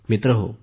मित्रहो